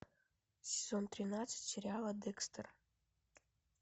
сезон тринадцать сериала декстер